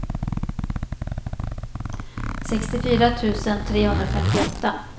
sextiofyra tusen trehundrafemtioåtta